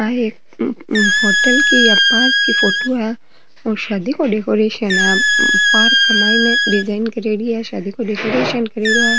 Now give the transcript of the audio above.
आ एक होटल की या पार्क की फोटो है और शादी की डेकोरेशन है पार्क के माइन डिजाइन करेंडी है शादी को डेकोरेशन करेड़ो है।